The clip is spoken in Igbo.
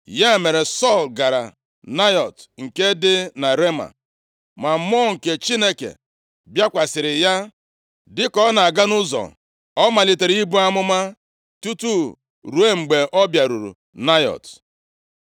Ya mere, Sọl gara Naịọt nke dị na Rema. Ma Mmụọ nke Chineke bịakwasịrị ya, dịka ọ na-aga nʼụzọ ọ malitere ibu amụma tutu ruo mgbe ọ bịaruru Naịọt.